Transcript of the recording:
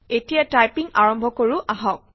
এটিয়া টাইপিং আৰম্ভ কৰো আহক